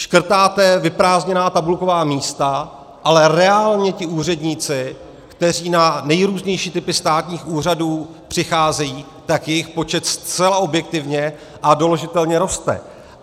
Škrtáte vyprázdněná tabulková místa, ale reálně ti úředníci, kteří na nejrůznější typy státních úřadů přicházejí, tak jejich počet zcela objektivně a doložitelně roste.